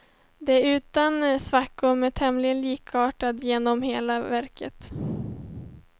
Den är utan svackor men tämligen likartad genom hela verket.